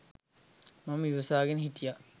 මම ඉවසාගෙන හිටියා.